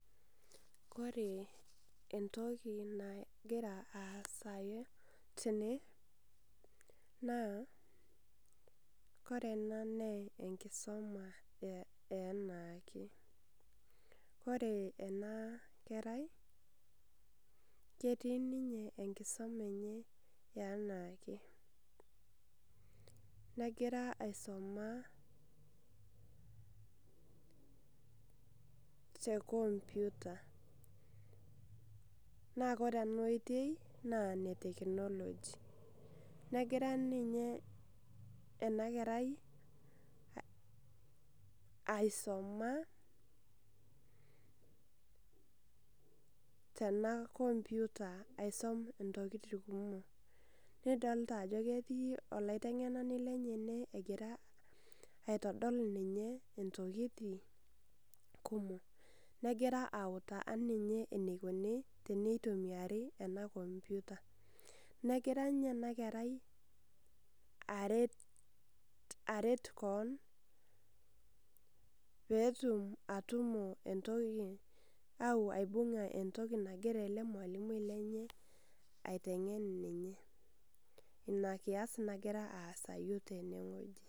Kore entoki nagira asayu tene, naa kore ena naa enkisoma eanaake. Kore enakerai, ketii ninye enkisoma enye eanaake. Negira aisoma te computer. Na kore enaitoi, naa ene technology. Negira ninye enakerai aisoma tena computer aisum intokiting kumok. Nidolta ajo ketii olaiteng'enani lenye ene egira aitodol ninye intokiting kumok. Negira autaa ninye enikuni tenitumiari ena computer. Negira nye enakerai aret kon, petum atumo entoki au aibung'a entoki nagira ele malimui lenye aiteng'en ninye. Inakias nagira aasayu tenewueji.